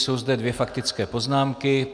Jsou zde dvě faktické poznámky.